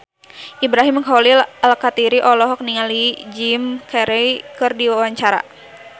Ibrahim Khalil Alkatiri olohok ningali Jim Carey keur diwawancara